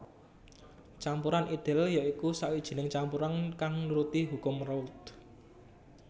Campuran ideal ya iku sawijining campuran kang nuruti hukum Raoult